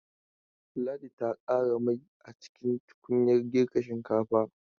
Ladi ta ƙara mai a cikin tukunyar girkin shinkafa